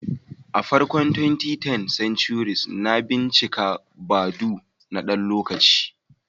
A farkon 2010s, na bincika Badoo na ɗan lokaci.